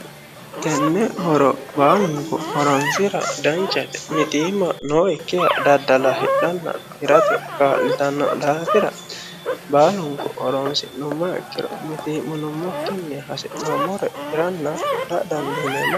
tenne horo baalunku horonsira danchate mitiimma nookkiha daddala hiranna hidhate kaa'litanno daafira baalunku horonsi'nummoha ikkiro mitii'minummokki hasi'noommore hiranna hidha dandiineemmo